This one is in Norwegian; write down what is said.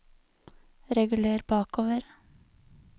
reguler bakover